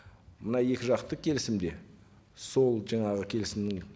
мына екі жақты келісімде сол жаңағы келісімнің